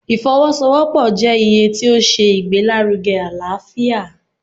ìfọwọ-sowopọ jẹ iye ti o ṣe ìgbelárúge alaáfiá